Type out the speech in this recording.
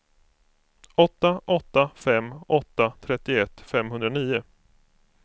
åtta åtta fem åtta trettioett femhundranio